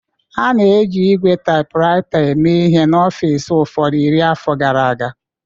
A na-ejikarị ígwè typewriter eme ihe n'ọfịs ụfọdụ iri afọ gara aga